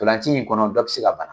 Ntolanci in kɔnɔ, dɔ bɛ se ka bana.